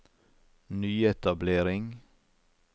nyetablering